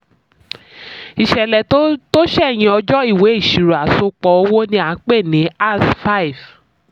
ìṣẹ̀lẹ̀ tó ṣẹ̀yìn ọjọ́ ìwé ìṣirò àsopọ̀ owó ni a pè ní as- five